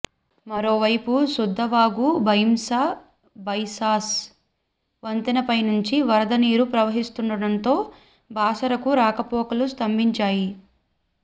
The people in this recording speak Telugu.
మరోవైపు సుద్దవాగు భైంసా బైసాస్ వంతెనపైనుంచి వరద నీరు ప్రవహిస్తుండడంతో బాసరకు రాకపోకలు స్తంభించాయి